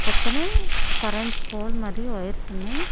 పక్కనే current pole మరియు wires ఉన్నాయి.